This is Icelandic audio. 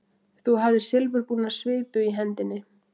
Þú hafðir silfurbúna svipu í hendinni.